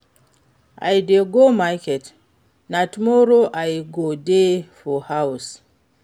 i dey go market, na tomorrow i go dey for house.